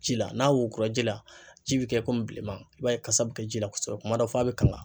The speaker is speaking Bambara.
Ji la n'a wora ji la, ji be kɛ bilenman. I b'a ye kasa be ji la kosɛbɛ kuma dɔ fo a bɛ kanga.